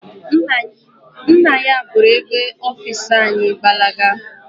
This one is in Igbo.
Nna ya buru oge ọfisi anyị gbalaga.